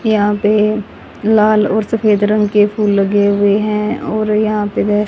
यहां पे लाल और सफेद रंग के फूल लगे हुए हैं और यहां पे--